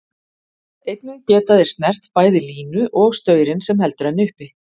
Einnig geta þeir snert bæði línu og staurinn sem heldur henni uppi.